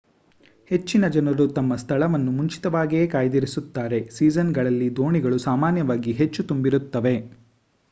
ಹೆಚ್ಚಿನ ಜನರು ತಮ್ಮ ಸ್ಥಳವನ್ನು ಮುಂಚಿತವಾಗಿಯೇ ಕಾಯ್ದಿರಿಸುತ್ತಾರೆ ಸೀಸನ್‌ಗಳಲ್ಲಿ ದೋಣಿಗಳು ಸಾಮಾನ್ಯವಾಗಿ ಹೆಚ್ಚು ತುಂಬಿರುತ್ತವೆ